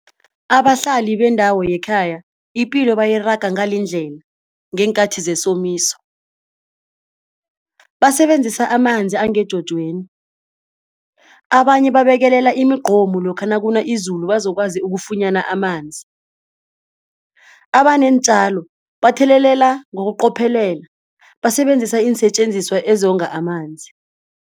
Abahlali bendawo yekhaya ipilo bayiraga ngalindlela ngeenkathi zesomiso basebenzisa amanzi angejojweni. Abanye babekelela imigqomu lokha nakuna izulu bazokwazi ukufunyana amanzi. Abaneentjalo bathelelela ngokuqophelela basebenzisa iinsetjenziswa ezonga amanzi.